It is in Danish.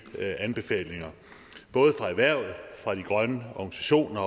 anbefalinger både fra erhvervet fra de grønne organisationer